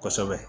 Kosɛbɛ